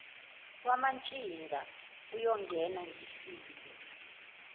womantshinga uyongena ngifile